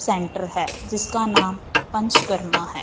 Centre है जिसका नाम पंचकर्मा है।